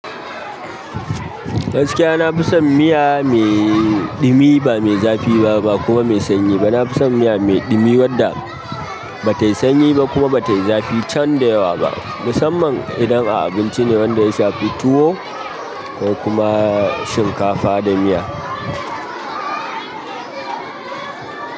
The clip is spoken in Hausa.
Gaskiya na fi son miya mai ɗumi, ba mai zafi ba, ba kuma mai sanyi ba. Nafi son miya mai ɗumi wanda batayi sanyi ba kuma batayi zafi can da yawa ba, musamman ma abinci ne wanda ya shafi tuwo kokuma shinkafa da miya.